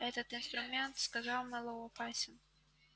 этот инструмент сказал мэллоу опасен